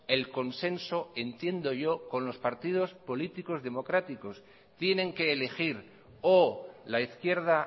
el consenso entiendo yo con los partidos políticos democráticos tienen que elegir o la izquierda